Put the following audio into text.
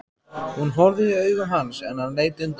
Hún horfði í augu hans en hann leit undan.